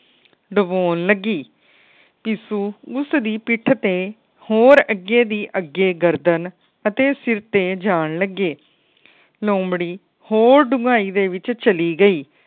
ਡਬੋਨ ਲੱਗੀ। ਪਿਸੁ ਉਸ ਦੇ ਪਿੱਠ ਤੇ ਹੋਰ ਅੱਗੇ ਦੀ ਅੱਗੇ ਗਰਦਨ ਅਤੇ ਸਿਰ ਤੇ ਜਾਨ ਲੱਗੇ। ਲੋਮੜ੍ਹੀ ਹੋਰ ਡੁੰਗਾਈ ਦੇ ਵਿੱਚ ਚਲੀ ਗਈ।